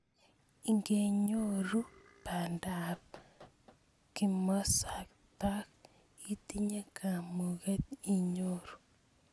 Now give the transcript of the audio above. Ingenyoru banda ab kimosatak itinye kamuket inyoru.